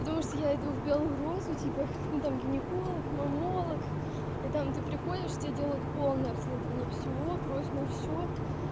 потому что я иду в белую розу типа ну там гинеколог маммолог и там ты приходишь тебе делают полное обследование всего кровь на всё